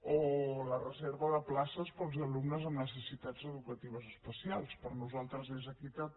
o la reserva de places per als alumnes amb necessitats educatives especials per nosaltres és equitat